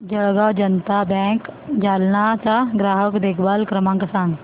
Jalgaon Janata bank Jalna चा ग्राहक देखभाल क्रमांक सांग